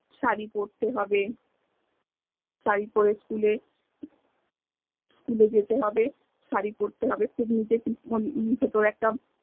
সারি পরতে হবে সারি পর school এ school এ যেতে হবে সারি পরতে হবে